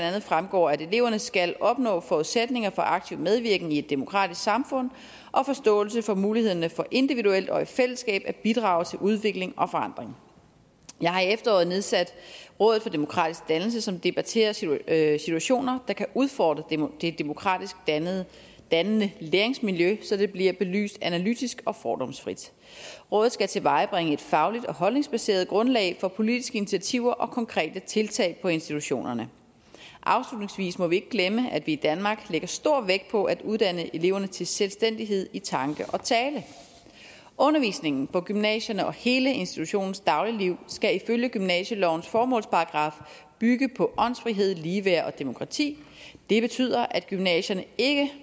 andet fremgår at eleverne skal opnå forudsætninger for aktiv medvirken i et demokratisk samfund og forståelse af mulighederne for individuelt og i fællesskab at bidrage til udvikling og forandring jeg har i efteråret nedsat rådet for demokratisk dannelse som debatterer situationer der kan udfordre det demokratisk dannende dannende læringsmiljø så det bliver belyst analytisk og fordomsfrit rådet skal tilvejebringe et fagligt og holdningsbaseret grundlag for politiske initiativer og konkrete tiltag på institutionerne afslutningsvis må vi ikke glemme at vi i danmark lægger stor vægt på at uddanne eleverne til selvstændighed i tanke og tale undervisningen på gymnasierne og hele institutionens dagligliv skal ifølge gymnasielovens formålsparagraf bygge på åndsfrihed ligeværd og demokrati det betyder at gymnasierne ikke